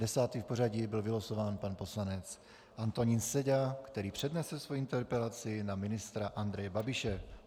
Desátý v pořadí byl vylosován pan poslanec Antonín Seďa, který přednese svoji interpelaci na ministra Andreje Babiše.